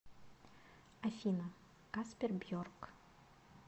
афина каспер бьорк